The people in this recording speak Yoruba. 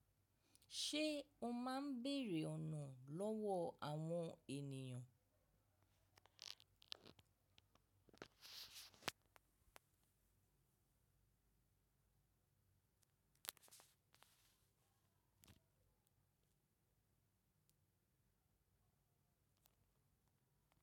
Ṣé o máa ń bèrè ọ̀nà lọ́wọ́ àwọn ènìyàn?